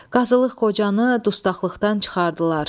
Qazılıq Qocanı dustaqlıqdan çıxardılar.